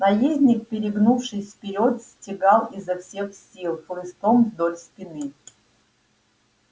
наездник перегнувшись вперёд стегал его изо всех сил хлыстом вдоль спины